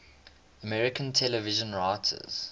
american television writers